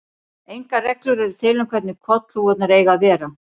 Engar reglur eru til um hvernig kollhúfurnar eigi að vera.